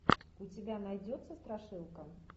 у тебя найдется страшилка